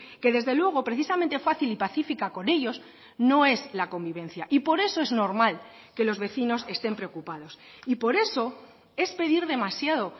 que desde luego precisamente fácil y pacífica con ellos no es la convivencia y por eso es normal que los vecinos estén preocupados y por eso es pedir demasiado